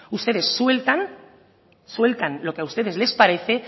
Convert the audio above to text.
ustedes sueltan lo que a ustedes les parece